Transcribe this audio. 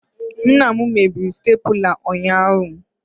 Nna m mebiri staplula ụnyahụ